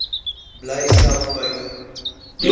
bly self buite